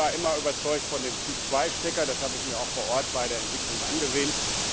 Ich war immer überzeugt von dem Typ 2 Stecker, das habe ich mir auch vor Ort bei der Entwicklung angesehen.